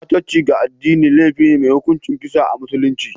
Ɓatanci ga addini laifi ne mai hukuncin kisa a musulunce